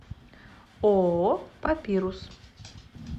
ооо папирус